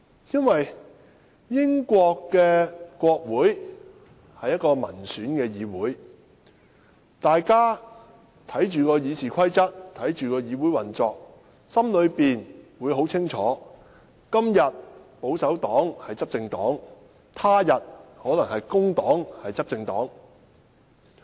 因為英國國會是民選產生的議會，大家看着《議事規則》，看着議會運作，心裏很清楚：今天的執政黨是保守黨，他日可能是工黨。